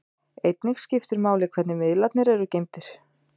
Einnig skiptir máli hvernig miðlarnir eru geymdir.